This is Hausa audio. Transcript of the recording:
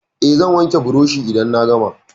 Eh, zan wanke burushin idan na gama.